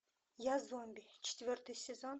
я зомби четвертый сезон